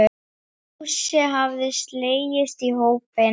Fúsi hafði slegist í hópinn.